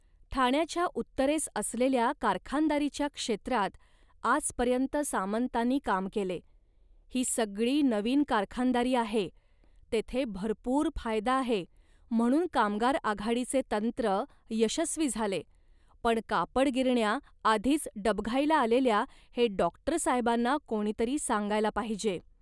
ठाण्याच्या उत्तरेस असलेल्या कारखानदारीच्या क्षेत्रात आजपर्यंत सामंतांनी काम केले, ही सगळी नवीन कारखानदारी आहे, तेथे भरपूर फायदा आहे म्हणून कामगार आघाडीचे तंत्र यशस्वी झाले, पण कापड गिरण्या आधीच डबघाईला आलेल्या हे डॉक्टरसाहेबांना कोणीतरी सांगायला पाहिजे.